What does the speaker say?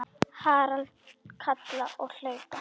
Harald kalla og hlaupa.